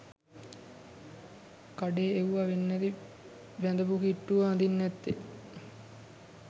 කඩේ එව්ව වෙන්නැති බැන්දපු කිට්ටුව අඳින්නැත්තෙ